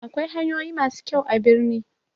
Akwai hanyoyi masu kyau a birni